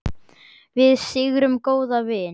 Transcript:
Við syrgjum góðan vin.